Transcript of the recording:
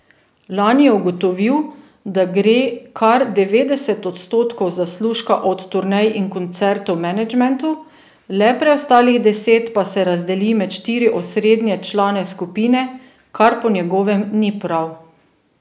Lani je ugotovil, da gre kar devetdeset odstotkov zaslužka od turnej in koncertov menedžmentu, le preostalih deset pa se razdeli med štiri osrednje člane skupine, kar po njegovem ni prav.